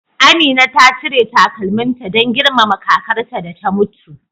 Amina ta cire takalminta don girmama kakarta da ta mutu.